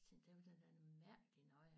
Tænkte det var da noget mærkeligt noget